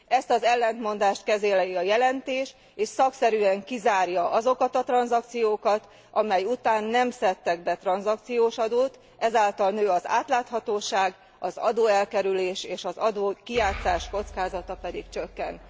Ezt az ellentmondást kezeli a jelentés, és szakszerűen kizárja azokat a tranzakciókat, amely után nem szedtek be tranzakciós adót, ezáltal nő az átláthatóság, az adóelkerülés és az adókijátszás kockázata pedig csökken.